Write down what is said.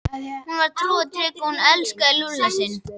Hún var trú og trygg og hún elskaði Lúlla sinn.